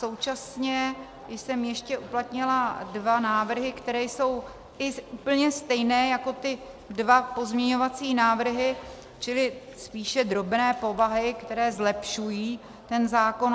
Současně jsem ještě uplatnila dva návrhy, které jsou i úplně stejné jako ty dva pozměňovací návrhy, čili spíše drobné povahy, které zlepšují ten zákon.